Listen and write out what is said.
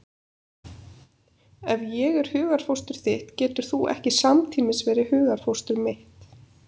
Ef ég er hugarfóstur þitt getur þú ekki samtímis verið hugarfóstur mitt.